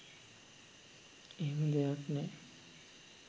එහෙම දෙයක් නෑ.